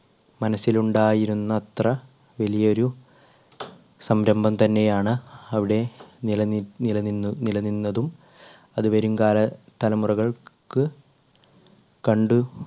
മനസ്സിലുണ്ടായിരുന്നത്ര വലിയൊരു സംരംഭം തന്നെയാണ് അവിടെ നിലനി നില നിന്നു നില നിന്നതും അത് വരുംകാല തലമുറകൾക്ക് കണ്ടു